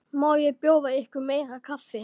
Má bjóða ykkur meira kaffi?